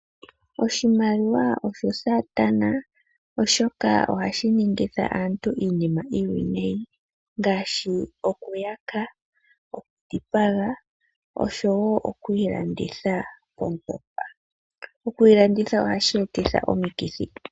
Oshimaliwa osho saatana oshoka ohashi ningitha aantu iinima iiwinayi ngaashi okuyaka, okudhipaga osho woo okwiilanditha. Okwiilanditha ohaku eta ohashi etitha omikithi.